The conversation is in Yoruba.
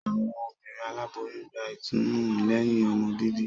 Awọn obìnrin Aláboyún gbà ìtùnú lẹhin ọmọ bíbí